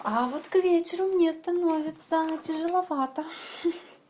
а вот к вечеру мне становится тяжеловато ха-ха